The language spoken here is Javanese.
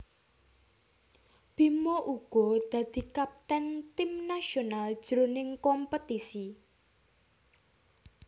Bima uga dadi kapten tim nasional jroning kompetisi